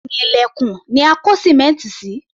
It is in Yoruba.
Ẹ̀yìn ilẹ̀kùn ni a kó sìmẹ́ǹtì sí